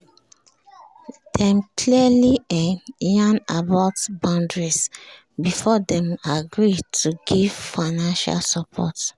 dem clearly um yarn about boundaries before dem agree to give financial support